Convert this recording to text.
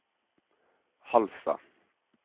Halsa